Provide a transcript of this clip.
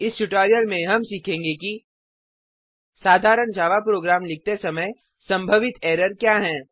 इस ट्यूटोरियल में हम सीखेंगे कि साधारण जावा प्रोग्राम लिखते समय संभावित एरर क्या हैं